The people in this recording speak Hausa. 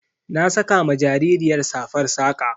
Na saka ma jaririyar safar saƙa.